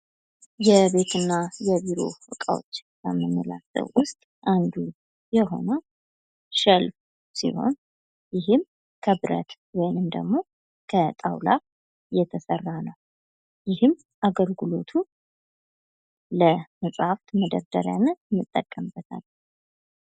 የቤት እና የቢሮ እቃዎች ከምንላቸው ዉስጥ አንዱ የሆነው ሸልፍ ሲሆን ይህም ከብረት ውይም ደግሞ ከጣዉላ የተሰራ ነው። ይህም አገልግሎቱ ለመጽሃፍት መደርደሪያነት እንጠቀመበታለን።